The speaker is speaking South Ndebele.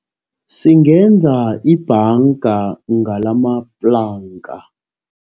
Singenza ibhanga ngalamaplanka.